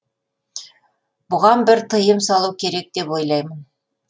бұған бір тыйым салу керек деп ойлаймын